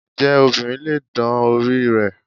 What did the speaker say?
Ǹjẹ́ obìnrin lè dán orí rẹ̀?